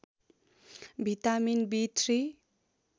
vitamin B three